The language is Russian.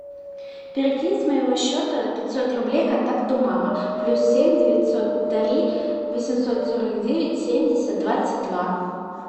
перекинь с моего счета пятьсот рублей контакту мама плюс семь девятьсот три восемьсот сорок девять семьдесят двадцать два